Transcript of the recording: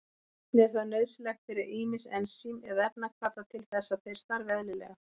Einnig er það nauðsynlegt fyrir ýmis ensím eða efnahvata til þess að þeir starfi eðlilega.